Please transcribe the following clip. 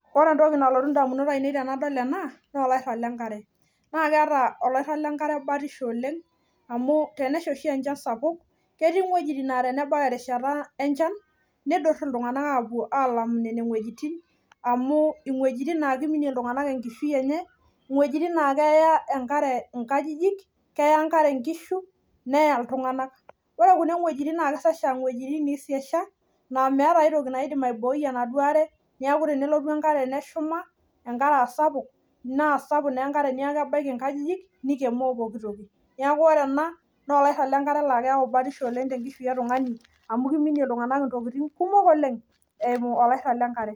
Ore entoki nalotu edamunot ainei tenadol ena naa oloirag lee nkare naa keeta oloirag lee nkare batisho oleng amu tenesha oshi enchan sapuk naa ketii wuejitin naa tenebau erishata enchan nidur iltung'ana apuo alaam neine wuejitin amu ewuejitin naa kiminie iltung'ana enkishui enye wuejitin naa keyaa enkare nkajijik keeya enkare enkishu neeya iltung'ana ore kune wuejitin naa kesesha aa wuejitin nisiasha naa meeta aitoki naidim aiboi enaduo are neeku tenelotu enkare neshupu aa sapuk naa sapuk naa enkare neeku kebaiki enkajijik nitemok pooki toki neeku ore ena naa oloirag lee nkare oyau batisho oleng tee nkishui oltung'ani amu kiminie iltung'ana entokitin kumok oleng eyimu oloirag lee nkare